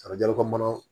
Arajo ko mana